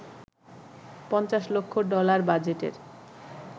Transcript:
৫০ লক্ষ ডলার বাজেটের